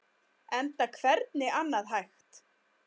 Enda hvernig annað hægt?